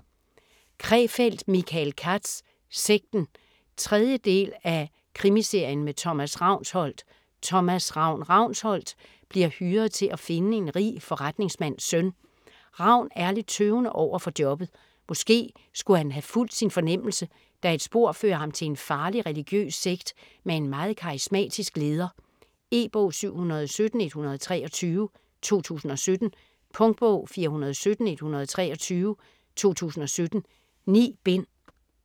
Krefeld, Michael Katz: Sekten 3. del af Krimiserien med Thomas Ravnsholdt. Thomas "Ravn" Ravnsholdt bliver hyret til at finde en rig forretningsmands søn. Ravn er lidt tøvende overfor jobbet. Måske skulle han have fulgt sin fornemmelse, da et spor fører ham til en farlig religiøs sekt med en meget karismatisk leder. E-bog 717123 2017. Punktbog 417123 2017. 9 bind.